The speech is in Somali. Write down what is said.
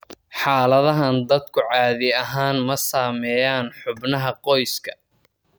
Xaaladahan, dadku caadi ahaan ma saameeyaan xubnaha qoyska.